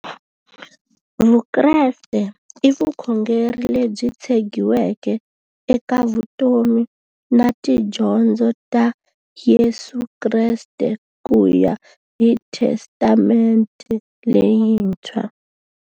Vukreste i vukhongeri lebyi tshegiweke eka vutomi na tidyondzo ta Yesu Kreste kuya hi Testamente leyintshwa.